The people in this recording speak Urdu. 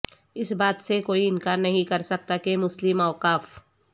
اس بات سے کوئی انکار نہیں کرسکتا کہ مسلم اوقاف